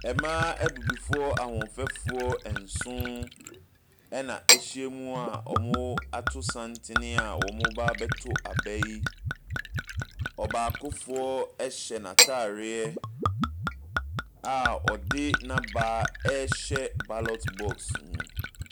Mmaa abibifoɔ ahoɔfɛfoɔ nson, ɛnna wɔahyia mu a wɔato santene a wɔreba abɛto aba yi. Ɔbaakofoɔ hyɛ n'atareɛ a ɔde n'aba rehyɛ ballot box mu.